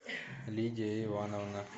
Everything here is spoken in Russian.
лидия ивановна